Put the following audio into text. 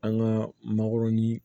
An ka mangoroni